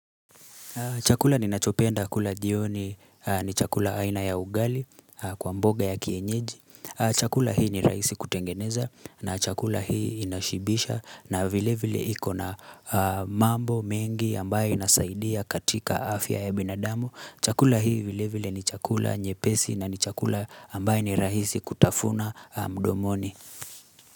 Chakula ninachopenda kula jioni ni chakula aina ya ugali kwa mboga ya kienyeji. Chakula hii ni rahisi kutengeneza na chakula hii inashibisha na vile vile ikona mambo mengi ambaye nasaidia katika afya ya binadamu. Chakula hii vile vile ni chakula nyepesi na ni chakula ambaye ni rahisi kutafuna mdomoni.